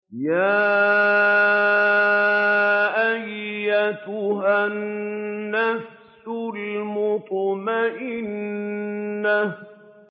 يَا أَيَّتُهَا النَّفْسُ الْمُطْمَئِنَّةُ